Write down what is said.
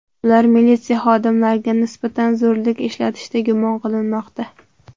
Ular militsiya xodimlariga nisbatan zo‘rlik ishlatishda gumon qilinmoqda.